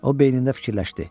O beynində fikirləşdi.